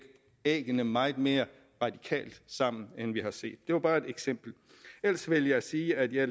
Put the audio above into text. æggene meget mere radikalt sammen end vi har set det var bare et eksempel ellers vil jeg sige at jeg